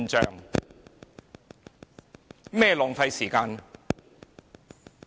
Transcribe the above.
甚麼是浪費時間？